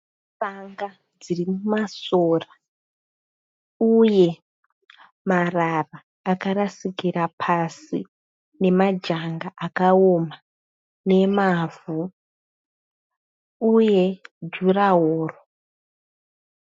Tsanga dziri masora uye marara akarasikira pasi nemajanga akaona nemavhu uye jurahoro.